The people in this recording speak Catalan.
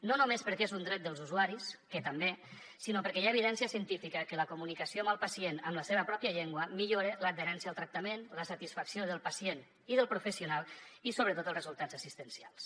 no només perquè és un dret dels usuaris que també sinó perquè hi ha evidència científica que la comunicació amb el pacient en la seva pròpia llengua millora l’adherència al tractament la satisfacció del pacient i del professional i sobretot els resultats assistencials